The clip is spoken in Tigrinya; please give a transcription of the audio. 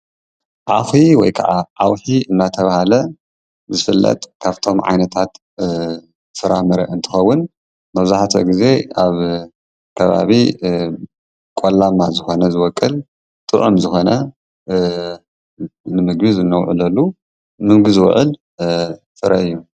ኣውሒ ወይ ከዓ ዓውሒ እናተባህለ ዝፍለጥ ካብቶም ዓይነታት ፍራምረ እትከውን መብዛሕቲኡ ግዜ ኣብ ከባቢ ቆላማ ዝኾነ ከባቢ ዝቦቅል ጡዑም ዝኮነ ንምግቢ እነውዕለሉ ንምግቢ ዝውዕል ፍረ እዩ፡፡